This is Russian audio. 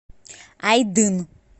айдын